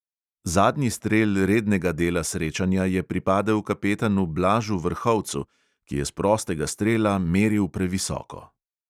Zadnji strel rednega dela srečanja je pripadel kapetanu blažu vrhovcu, ki je s prostega strela meril previsoko.